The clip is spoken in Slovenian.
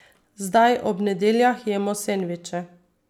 Zdaj ob nedeljah jemo sendviče.